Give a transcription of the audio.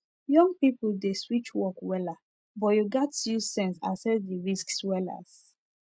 young people dey switch work wella but you gats use sense asses the risks wellas